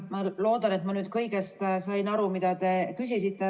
Ma loodan, et ma sain siiski kõigest aru, mida te küsisite.